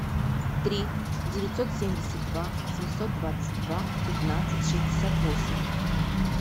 три девятьсот семьдесят два семьсот двадцать два пятнадцать шестьдесят восемь